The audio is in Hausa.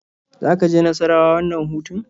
Za ka je Nassarawa wannan hutun?